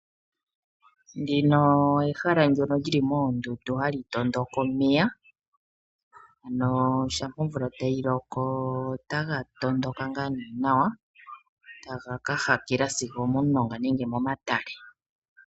Ndino ehala ndono lyili moondundu hali tondoka omeya ano shampa omvula tayi loko otaga tondoka ngaa nee nawa taga ka hakela sigo omomulonga nenge momatale.